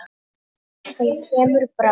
Hann kemur bráðum.